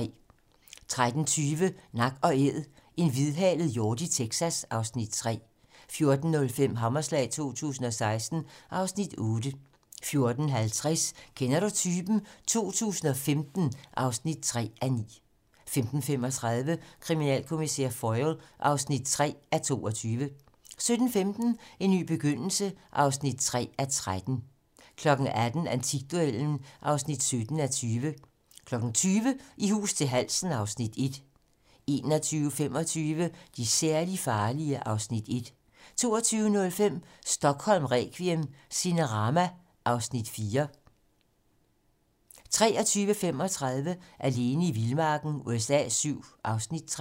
13:20: Nak & æd - en hvidhalet hjort i Texas (Afs. 3) 14:05: Hammerslag 2016 (Afs. 8) 14:50: Kender du typen? 2015 (3:9) 15:35: Kriminalkommissær Foyle (3:22) 17:15: En ny begyndelse (3:13) 18:00: Antikduellen (17:20) 20:00: I hus til halsen (Afs. 1) 21:25: De særligt farlige (Afs. 1) 22:05: Stockholm requiem: Cinerama (Afs. 4) 23:35: Alene i vildmarken USA VII (Afs. 3)